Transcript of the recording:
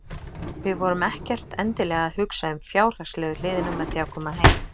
Við vorum ekkert endilega að hugsa um fjárhagslegu hliðina með því að koma heim.